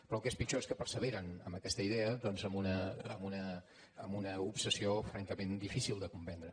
però el que és pitjor és que perseveren en aquesta idea doncs amb una obsessió francament difícil de comprendre